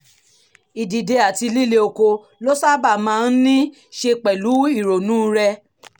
ìdìde àti líle okó ló sábà máa ń ní í ṣe pẹ̀lú ìrònú rẹ